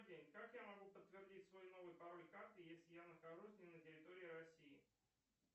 как я могу подтвердить свой новый пароль карты если я нахожусь не на территории россии